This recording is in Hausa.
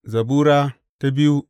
Zabura Sura biyu